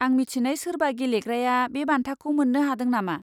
आं मिथिनाय सोरबा गेलेग्राया बे बान्थाखौ मोन्नो हादों नामा?